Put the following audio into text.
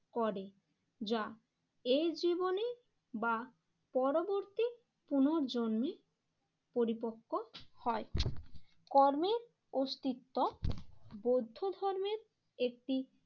করে যা, এর জীবনে বা পরবর্তী পুনর্জন্মে পরিপক্ক হয়। কর্মের অস্তিত্ব বৌদ্ধ ধর্মের একটি